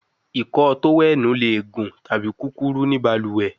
Ìkọ́ọ tówẹ́ẹ̀nù le gun tabi kukuru ni baluwe